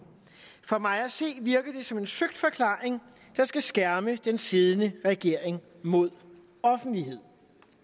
for mig at se virker det som en søgt forklaring der skal skærme den siddende regering mod offentlighed